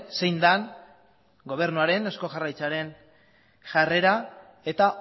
zein den gobernuaren eusko jaurlaritzaren jarrera eta